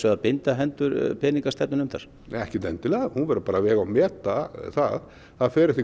að binda hendur peningastefnunefndar ekki endilega hún verður bara að vega og meta það það fer eftir